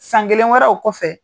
San kelen wɛrɛ o kɔfɛ